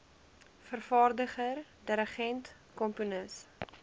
vervaardiger dirigent komponis